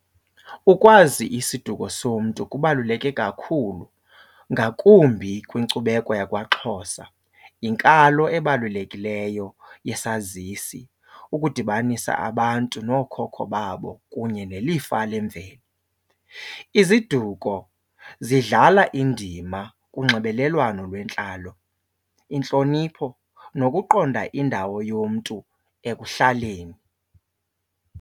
Ukwazi isiduko somntu kubaluleke kakhulu ngakumbi kwinkcubeko yakwaXhosa, yinkalo ebalulekileyo yesazisi ukudibanisa abantu nookhokho babo kunye nelifa lemveli. Iziduko zidlala indima kunxibelelwano lwentlalo, intlonipho nokuqonda indawo yomntu ekuhlaleni.